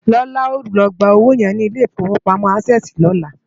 Lola á lò gbá ówó yèn ni Ilé Ifówópámò ásèsi lòlá